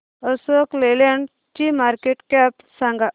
अशोक लेलँड ची market cap सांगा